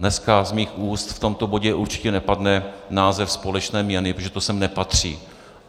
Dneska z mých úst v tomto bodě určitě nepadne název společné měny, protože to sem nepatří.